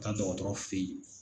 Ta dɔgɔtɔrɔ fɛ yen